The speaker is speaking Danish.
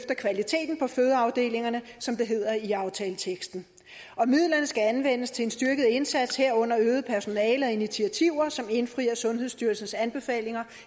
af kvaliteten på fødeafdelingerne som det hedder i aftaleteksten og midlerne skal anvendes til en styrket indsats herunder øget personale og initiativer som indfrier sundhedsstyrelsens anbefalinger